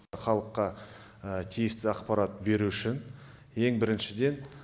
халыққа тиісті ақпарат беру үшін ең біріншіден